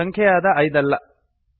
ಇದು ಸಂಖ್ಯೆಯಾದ ೫ ಐದಲ್ಲ